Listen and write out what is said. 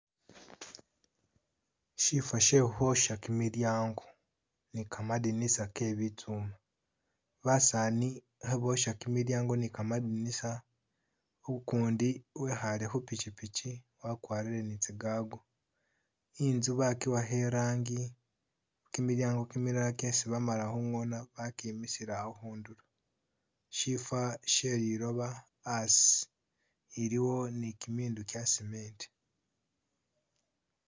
Shiifa shee khukhwoosha kimilyango ni kamadinisa ke'bitsuuma, basaani kheboosha kimilyango ni kamadinisa, u'kundi wekhaale khupikipiki wakwarire ni tsi'gaago, i'nzu bakiwakha rangi, kimilyango kimilala kyesi'bamala khu'ngoona bakimisile awo khundulo, siifa shee lilooba a'asi, eliwo ni kimindu kya'cementi